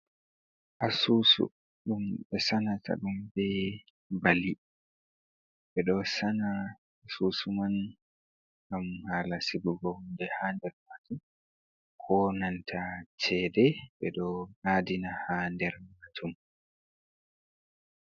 Asusu ɗum ɓe santa ɗum be bali, ɓeɗo Sanya asusu man ngam hala sigugo hunde ha nder majum, konanta cede ɓe ɗo adina ha nder majum.